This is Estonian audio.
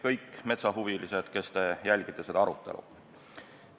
Kõik metsahuvilised, kes te jälgite seda arutelu!